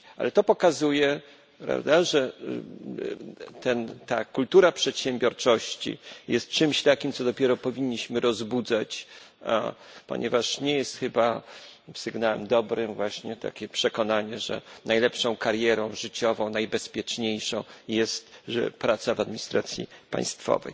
To pokazuje, że ta kultura przedsiębiorczości jest czymś takim, co dopiero powinniśmy rozbudzać, ponieważ nie jest chyba sygnałem dobrym właśnie takie przekonanie, że najlepszą karierą życiową, najbezpieczniejszą jest praca w administracji państwowej.